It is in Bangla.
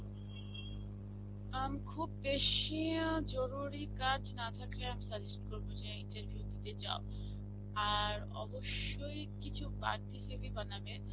উম খুব বেশী জরুরি কাজ না থাকলে আমি suggest করবো যে interview তে যাও. আর অবশ্যই কিছু বাড়তি CV বানাবে.